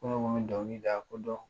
Ko ne kun bi dɔnkilida ko dɔn .